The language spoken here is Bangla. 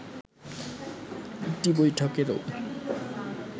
একটি বৈঠকেরও